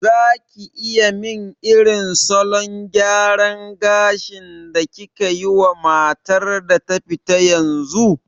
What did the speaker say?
Zaki iya min irin salon gyaran gashin da kikayi wa matar da ta fita yanzu?